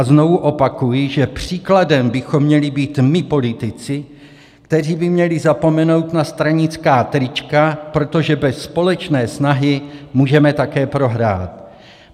A znovu opakuji, že příkladem bychom měli být my politici, kteří by měli zapomenout na stranická trička, protože bez společné snahy můžeme také prohrát.